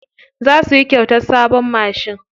Za su yi kyautar sabon mashin.